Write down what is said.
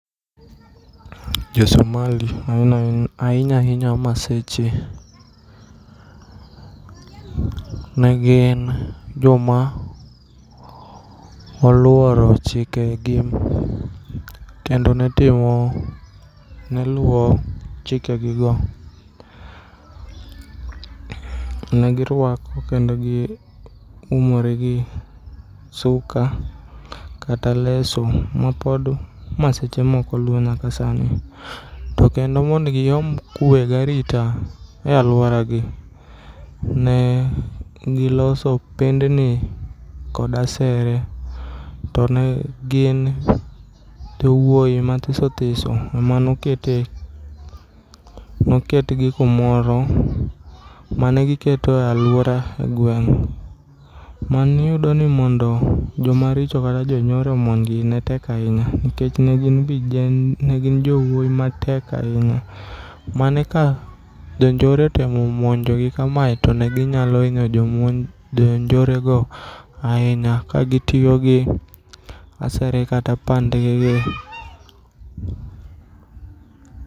Jo Somali ainyainya Maseche negin joma oluoro chikegi kendo netimo, neluo chikegigo. Negirwako kendo giumore gi suka kata leso mapod Maseche moko luo nyaka sani. Tokendo mond giyomb kue garita e aluoragi ne giloso pendni kod asere. To ne gin jowuoi mathisothiso emanokete, noketgi kumoro manegiketo e aluora gweng'.Maniyudoni mondo jomaricho kata jonyore omonjgi ne tek ainya nikech negin vije, ne gin jowuoi matek ainya mane ka jonjore otemo monjogi kamae to neginyalo inyo jonjore go ainya ka gitio gi asere kata pandgigi.